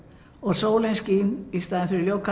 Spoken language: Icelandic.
og sólin skín í stað